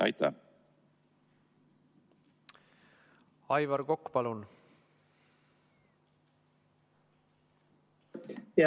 Aivar Kokk, palun!